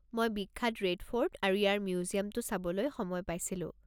মই বিখ্যাত Red Fort আৰু ইয়াৰ মিউজিয়ামটো চাবলৈ সময় পাইছিলোঁ।